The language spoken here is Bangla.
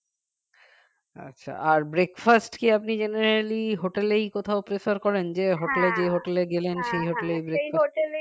আচ্ছা আর breakfast কি আপনি generally hotel এই কোথাও prefer করেন যে hotel hotel এ গেলেন সেই hotel এই